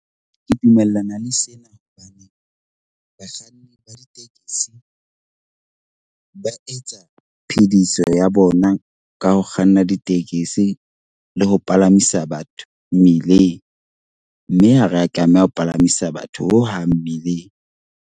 Ke dumellana le sena hobane bakganni ba ditekesi ba etsa phethiso ya bona ka ho kganna ditekesi le ho palamisa batho mmileng. Mme ha re a tlameha ho palamisa batho hohang mmileng.